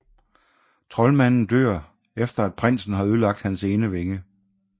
Troldmanden dør efter at prinsen har ødelagt hans ene vinge